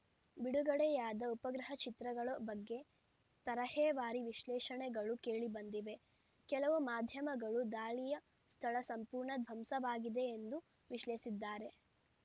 ಬಿಡುಗಡೆಯಾದ ಉಪಗ್ರಹ ಚಿತ್ರಗಳ ಬಗ್ಗೆ ತರಹೇವಾರಿ ವಿಶ್ಲೇಷಣೆಗಳು ಕೇಳಿಬಂದಿವೆ ಕೆಲವು ಮಾಧ್ಯಮಗಳು ದಾಳಿಯ ಸ್ಥಳ ಸಂಪೂರ್ಣ ಧ್ವಂಸವಾಗಿದೆ ಎಂದು ವಿಶ್ಲೇಷಿಸಿದ್ದರೆ